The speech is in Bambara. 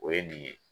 O ye nin ye